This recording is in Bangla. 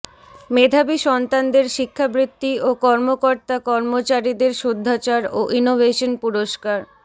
মেধাবী সন্তানদের শিক্ষাবৃত্তি ও কর্মকর্তা কর্মচারীদের শুদ্ধাচার ও ইনোভেশন পুরস্কার